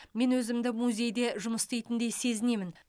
мен өзімді музейде жұмыс істейтіндей сезінемін